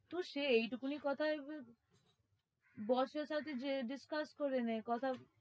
তো সে এইটুকুনি কথায় boss এর সাথে যেয়ে discuss করে নে কথা।